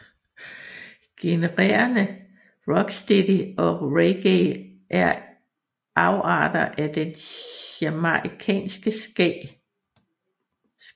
Genrerne rocksteady og reggae er afarter af den jamaicanske ska